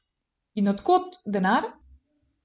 In od kod denar?